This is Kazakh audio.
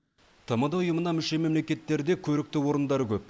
тмд ұйымына мүше мемлекеттерде көрікті орындар көп